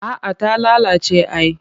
A'a ta lalace ai